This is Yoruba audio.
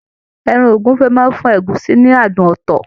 Ẹran ogúnfe máa n fún ọbẹ ẹ̀gúsí ní àádùn ọtọ.